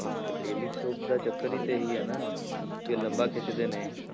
Daily soap ਦਾ ਚੱਕਰ ਹੀ ਤੇ ਇਹੀ ਹੈ ਨਾ ਕਿ ਲੰਬਾ ਖਿੱਚਦੇ ਨੇ।